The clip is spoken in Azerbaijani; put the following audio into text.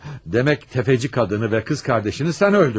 Demək təfəçi qadını və qız qardaşını sən öldürdün, hə?